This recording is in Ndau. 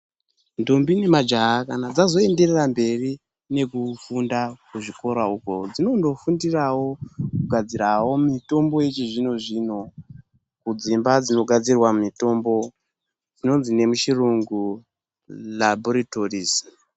Ndombi nemajaya kana dzazoyenderera mberi nekufunda kuzvikora oko, dzinonofundirawo kugadzirawo mitombo yechizvino zvino, kudzimba dzinogadzirwa mitombo, dzinondzi nemuchirungu labhorithorizi.